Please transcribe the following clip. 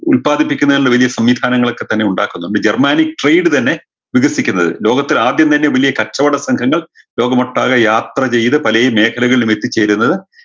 ഉല്പാദിപ്പിക്കുന്നതിനുള്ള വലിയ സംവിധാനങ്ങളൊക്കെ തന്നെ ഉണ്ടാക്കുന്നുണ്ട് germanic trade തന്നെ വികസിക്കുന്നത് ലോകത്തിൽ ആദ്യം തന്നെ വെല്ല്യ കച്ചവട സംഘങ്ങൾ ലോകമൊട്ടാകെ യാത്ര ചെയ്ത് പലേ മേഖലകളിലും എത്തിച്ചേരുന്നത്